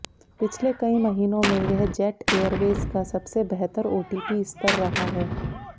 पिछले कई महीनों में यह जेट एयरवेज का सबसे बेहतर ओटीपी स्तर रहा है